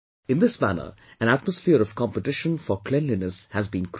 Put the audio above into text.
In this manner an atmosphere of competition for cleanliness has been created